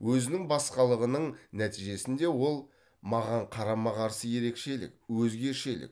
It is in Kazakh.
өзінің басқалығының нәтижесінде ол маған қарама қарсы ерекшелік өзгешелік